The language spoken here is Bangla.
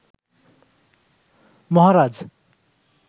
মহারাজ